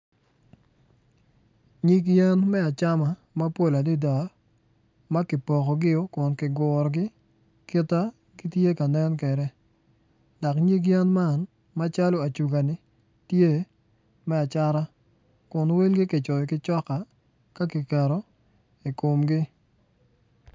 Nyig yen me acam mapol adada ma kipokogi kun kigurogi kit ma gitye ka nen kwede dok nyig yen man macalo acuga-ni tye me acata.